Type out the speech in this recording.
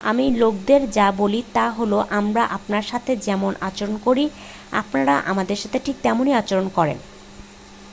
আমি লোকদের যা বলি তা হলো আমরা আপনার সাথে যেমন আচরণ করি আপনারা আমাদের সাথে ঠিক তেমনই আচরণ করেন